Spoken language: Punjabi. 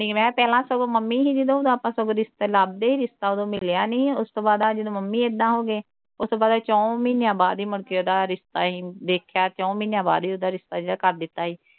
ਨਹੀਂ ਮੈਂ ਪਹਿਲਾਂ ਸਗੋਂ ਮੰਮੀ ਹੀ ਜਦੋਂ ਉਹ ਪਾ ਉਦੋ ਆਪਾ ਸਗੋਂ ਰਿਸ਼ਤੇ ਲੱਭਦੇ ਹੀ ਰਿਸ਼ਤਾ ਉਦੋਂ ਮਿਲਿਆ ਨਹੀਂ ਉਸ ਤੋਂ ਬਾਅਦ ਆਹ ਜਦੋਂ ਮੰਮੀ ਇੱਦਾਂ ਹੋ ਗਏ ਉਸ ਤੋਂ ਬਾਅਦ ਅਹੀ ਚੌ ਮਹੀਨਿਆਂ ਬਾਅਦ ਹੀ ਮੁੜਕੇ ਉਹਦਾ ਰਿਸ਼ਤਾ ਅਹੀ ਵੇਖਿਆ ਚੌ ਮਹੀਨਿਆਂ ਬਾਅਦ ਹੀ ਉਹਦਾ ਰਿਸ਼ਤਾ ਜਾ ਕਰ ਦਿੱਤਾ ਹੀ